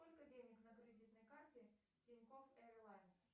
сколько денег на кредитной карте тинькофф эйрлайнс